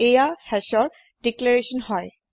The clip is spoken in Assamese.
এইয়া hashৰ দিক্লেৰেস্বন হয়